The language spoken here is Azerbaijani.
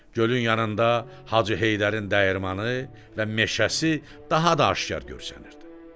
Gölün yanında Hacı Heydərin dəyirmanı və meşəsi daha da aşkar görünürdü.